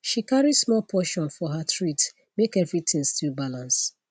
she carry small portion for her treat make everything still balance